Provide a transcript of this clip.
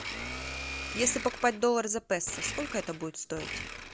если покупать доллар за песо сколько это будет стоить